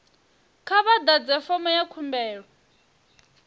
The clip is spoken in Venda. kha vha ḓadze fomo ya khumbelo